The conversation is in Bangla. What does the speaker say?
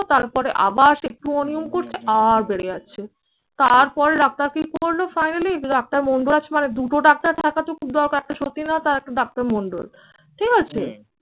তারপরে আবার সে একটু অনিয়ম করছে, আর বেড়ে যাচ্ছে তারপরে ডাক্তার কি করলো? finally ডাক্তার মন্দুরাজ মানে দুটো ডাক্তার থাকাতো খুব দরকার। একটা সতীনাথ আর একটা ডাক্তার মন্ডল। ঠিক আছে?